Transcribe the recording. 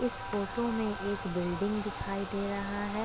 इस फोटो में एक बिल्डिंग दिखाई दे रहा है।